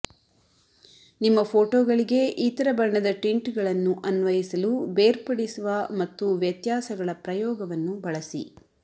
ನಿಮ್ಮ ಫೋಟೋಗಳಿಗೆ ಇತರ ಬಣ್ಣದ ಟಿಂಟ್ಗಳನ್ನು ಅನ್ವಯಿಸಲು ಬೇರ್ಪಡಿಸುವ ಮತ್ತು ವ್ಯತ್ಯಾಸಗಳ ಪ್ರಯೋಗವನ್ನು ಬಳಸಿ